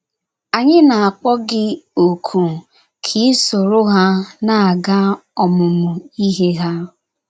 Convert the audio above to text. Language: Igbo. Anyị na - akpọ gị òkù ka i soro ha na - aga ọmụmụ ihe ha.